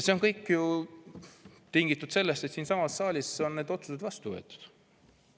See kõik on ju tingitud sellest, et siinsamas saalis on need otsused vastu võetud.